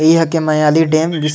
इहाँ के मयाली डैम इस--